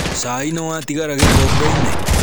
Cai nĩwatigara gĩkombeinĩ?